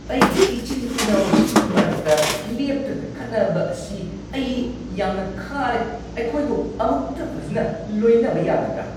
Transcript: ꯑꯩꯒꯤ ꯏꯆꯤꯟ-ꯏꯅꯥꯎꯁꯤꯡꯒꯤ ꯃꯔꯛꯇ ꯂꯦꯞꯇꯅ ꯈꯠꯅꯕ ꯑꯁꯤ ꯑꯩ ꯌꯥꯝꯅ ꯈꯥꯔꯦ꯫ ꯑꯩꯈꯣꯏꯕꯨ ꯑꯃꯨꯛꯇ ꯐꯖꯅ ꯂꯣꯏꯅꯕ ꯌꯥꯗꯕ꯭ꯔꯥ?